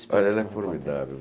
Olha, ela é formidável.